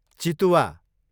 चितुवा